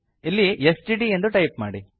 ಇಲ್ಲಿ ಎಸ್ಟಿಡಿ ಎಂದು ಟೈಪ್ ಮಾಡಿ